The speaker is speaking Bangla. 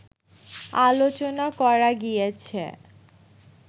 আলোচনা করা গিয়াছে